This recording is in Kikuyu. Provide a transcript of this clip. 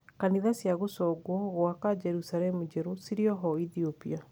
Kanitha cia gũconguo gũaka Jerusalemu njerũ cirioho Ethiopia.